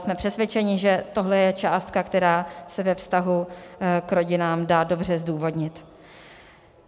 Jsme přesvědčeni, že tohle je částka, která se ve vztahu k rodinám dá dobře zdůvodnit.